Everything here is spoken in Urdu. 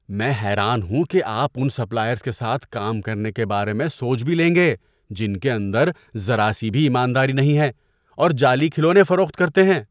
میں حیران ہوں کہ آپ ان سپلائرز کے ساتھ کام کرنے کے بارے میں سوچ بھی لیں گے جن کے اندر ذرا سی بھی ایمانداری نہیں ہے اور جعلی کھلونے فروخت کرتے ہیں۔